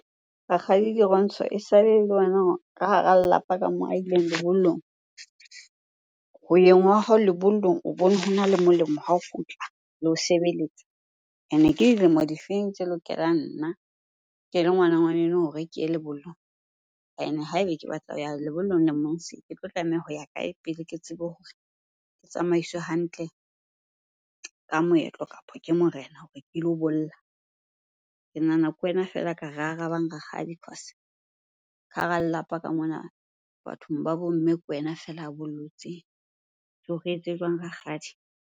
Rakgadi Dirontsho esale ele wena ka hara lelapa ka moo a ileng lebollong. Ho yeng wa hao lebollong o bone hona le molemo ha o kgutla le ho sebeletsa. Ene ke dilemo difeng tse lokelang nna ke le ngwana ngwaneno hore ke ye lebollong? Ene ha ebe ke batla ho ya lebollong lemong se, ke tlo tlameha ho ya kae pele ke tsebe hore ke tsamaiswe hantle ka moetlo, kapo ke morena hore ke lo bolla? Ke nahana ke wena fela a ka re arabang rakgadi cause ka hara lelapa ka mona bathong ba bo mme ke wena fela a bollotseng. So re etse jwang Rakgadi?